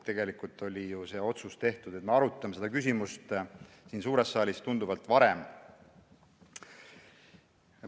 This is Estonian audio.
Tegelikult oli ju see otsus, et me arutame seda küsimust siin suures saalis, tunduvalt varem.